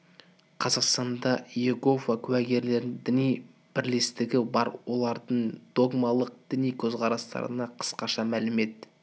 қазақстанда иегово куәгерлерінің діни бірлестігі бар олардың догмалық діни көзқарастарына қысқаша мәлімет